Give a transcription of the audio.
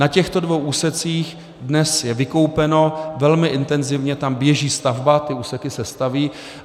Na těchto dvou úsecích dnes je vykoupeno, velmi intenzivně tam běží stavba, ty úseky se staví.